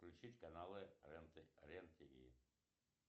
включить канал рен тв